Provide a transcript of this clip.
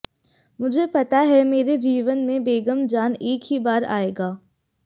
मुझे पता है मेरे जीवन में बेगम जान एक ही बार आएगा